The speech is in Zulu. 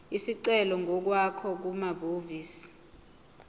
isicelo ngokwakho kumahhovisi